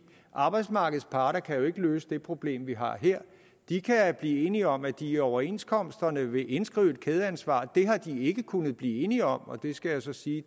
arbejdsmarkedets parter kan jo ikke løse det problem vi har her de kan blive enige om at de i overenskomsterne vil indskrive et kædeansvar det har de ikke kunnet blive enige om og der skal jeg så sige